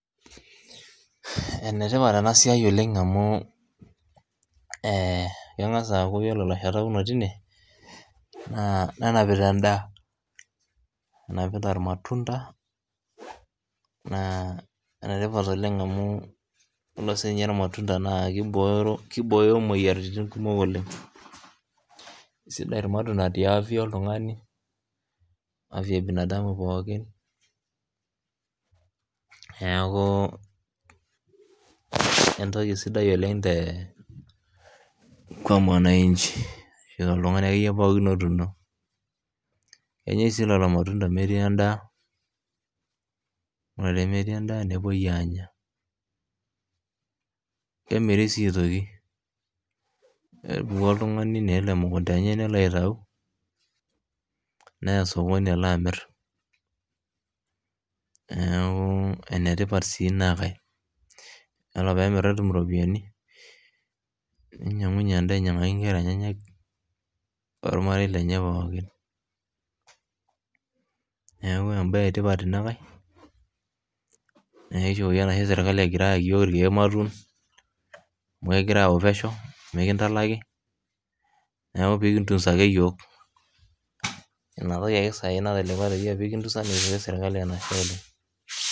Enetipat ena siaai oleng amuu kengas aaku ore lashetak lotii inie naa nenapita endaa, enapita lmatunda naa enetipat oleng amuu iyolo sii ninye lmatunda naa keibooyo imoyiarritin kumok oleng, sidai lmatunda te afya oltungani afya ebinadamu pookin neaku entoki sidai oleng kwa mwananchi te ltungani ake iye pookin otuuno, enyai sii lelo lmatundani aitaa endaa, naa tenemetii endaa nepoi aanya ,kemiri sii aitoki epuku oltungani nelo mkunta enye nelo aiatu neeya esokoni alo amirr, naaku enetipat sii enankae, ore peemirr netum iropiyiani neinyang'unye ainyang'aki inkerra enyena ormarei lenye pookin, neaku enbaye etipat ina nkae nidol sii esirkali egira ayaki yook ematwa amu egira auyau peshau, mikintalaki naaaku pikintunsa ake yook, ina ake saii natelekwa peye kitunsa kincho sirkali enashe oleng.